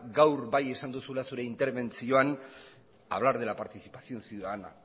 gaur bai esan duzula zure interbentzioan hablar de la participación ciudadana